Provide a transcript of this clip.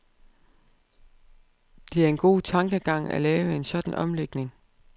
Det er en god tankegang, at lave en sådan omlægning.